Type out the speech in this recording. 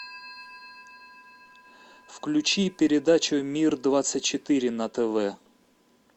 включи передачу мир двадцать четыре на тв